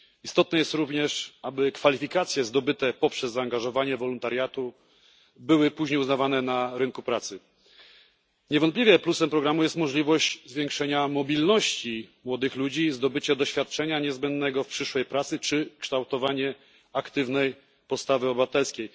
Ważne jest również, aby kwalifikacje zdobyte w ramach wolontariatu były później uznawane na rynku pracy. Niewątpliwym plusem programu jest możliwość zwiększenia mobilności młodych ludzi i zdobycia przez nich doświadczenia niezbędnego w przyszłej pracy, jak również kształtowanie aktywnej postawy obywatelskiej.